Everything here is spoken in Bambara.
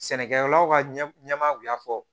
Sɛnɛkɛlaw ka ɲɛmaaw y'a fɔ